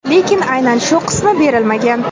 lekin aynan shu qismi berilmagan.